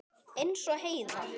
Eins og Heiða.